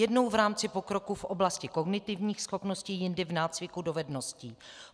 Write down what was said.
Jednou v rámci pokroku v oblasti kognitivních schopností, jindy v nácviku dovedností.